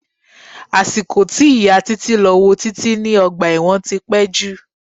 Àsìkò tí ìyà títí lọ wo títí ní ọgbà ẹ̀wọ̀n tí pé jù.